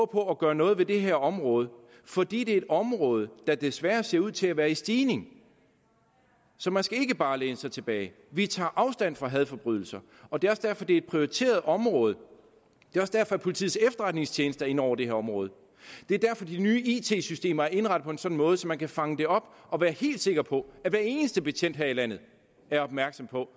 gøre noget ved det her område fordi det er et område hvor der desværre ser ud til at være en stigning så man skal ikke bare læne sig tilbage vi tager afstand fra hadforbrydelser og det er også derfor det er et prioriteret område det er også derfor at politiets efterretningstjeneste er inde over det her område det er derfor de nye it systemer er indrettet på en sådan måde at man kan fange det op og være helt sikker på at hver eneste betjent her i landet er opmærksom på